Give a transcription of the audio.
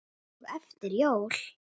og eftir jól.